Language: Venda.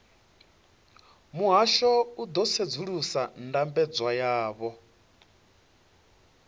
muhasho u ḓo sedzulusa ndambedzo yavho